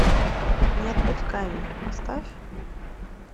не отпускай меня поставь